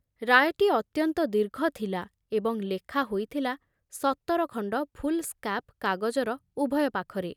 ରାୟଟି ଅତ୍ୟନ୍ତ ଦୀର୍ଘ ଥିଲା ଏବଂ ଲେଖା ହୋଇଥିଲା ସତରଖଣ୍ଡ ଫୁଲ୍‌ସ୍କାପ୍ କାଗଜର ଉଭୟ ପାଖରେ।